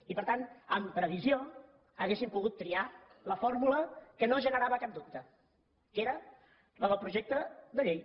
i per tant amb previsió haurien pogut triat la fórmula que no generava cap dubte que era la del projecte de llei